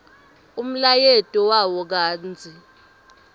umlayeto wawo kantsi